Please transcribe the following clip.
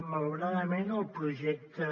malauradament el projecte